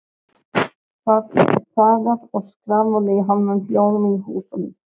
Það er þagað og skrafað í hálfum hljóðum í húsunum.